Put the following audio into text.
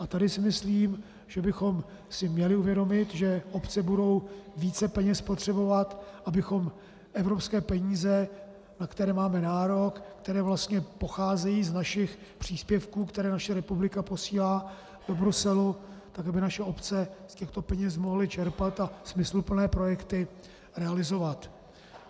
A tady si myslím, že bychom si měli uvědomit, že obce budou více peněz potřebovat, abychom evropské peníze, na které máme nárok, které vlastně pocházejí z našich příspěvků, které naše republika posílá do Bruselu, tak aby naše obce z těchto peněz mohly čerpat a smysluplné projekty realizovat.